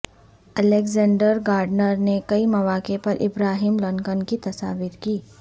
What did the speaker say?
Alexander Gardner نے کئی مواقع پر ابراہیم لنکن کی تصاویر کی